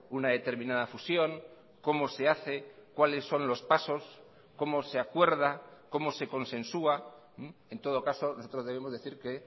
una determinada fusión cómo se hace cuáles son los pasos cómo se acuerda cómo se consensúa en todo caso nosotros debemos decir que